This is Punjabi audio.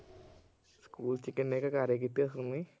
ਸਕੂਲ ਚ ਕਿੰਨੇ ਕ ਕਾਰੇ ਕੀਤੇ ਹੋਣੇ।